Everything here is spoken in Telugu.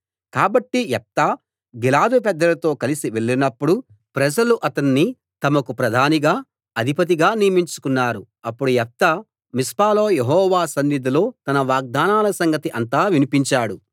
కాబట్టి యెఫ్తా గిలాదు పెద్దలతో కలిసి వెళ్లినప్పుడు ప్రజలు అతన్ని తమకు ప్రధానిగా అధిపతిగా నియమించుకున్నారు అప్పుడు యెఫ్తా మిస్పాలో యెహోవా సన్నిధిలో తన వాగ్దానాల సంగతి అంతా వినిపించాడు